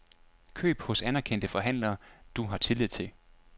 Køb hos anerkendte forhandlere, du har tillid til.